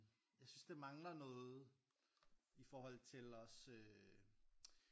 Jeg synes der mangler noget i forhold til også